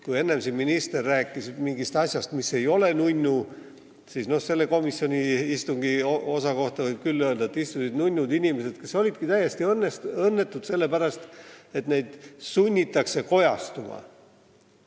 Kui enne siin minister rääkis mingist asjast, mis ei ole nunnu, siis komisjoni istungi selle osa kohta võib küll öelda, et seal istusid nunnud inimesed, kes olidki täiesti õnnetud sellepärast, et neid sunnitakse kojastuma.